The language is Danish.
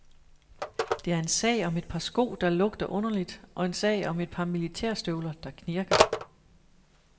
Det er en sag om et par sko, der lugter underligt og en sag om et par militærstøvler, der knirker.